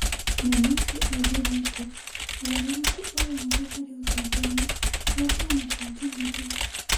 Memusi oigire atĩ ũgarũrũku o wothe harĩ ũtongoria wa kĩama kĩa Jubilee,